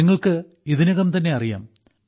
നിങ്ങൾക്ക് ഇതിനകംതന്നെ അറിയാം